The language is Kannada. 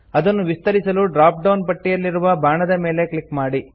ಅದನ್ನು ವಿಸ್ತರಿಸಲು ಡ್ರಾಪ್ ಡೌನ್ ಪಟ್ಟಿಯಲ್ಲಿರುವ ಬಾಣದ ಮೇಲೆ ಕ್ಲಿಕ್ ಮಾಡಿ